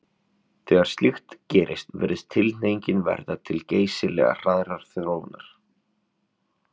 Þegar slíkt gerist virðist tilhneigingin verða til geysilega hraðrar þróunar.